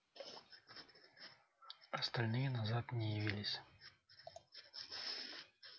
остальные назад не явились